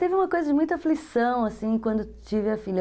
Teve uma coisa de muita aflição quando tive a filha.